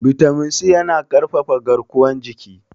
bitamin C yana ƙarfafa garkuwar jiki